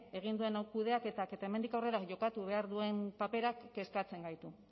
egin duen kudeaketak eta hemendik aurrera jokatu behar duen paperak kezkatzen gaitu